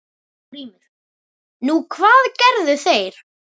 GRÍMUR: Nú, hvað gerðu þeir?